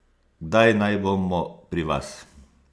Kdaj naj bomo pri vas?